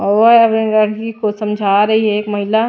और लड़की को समझा रही है एक महिला--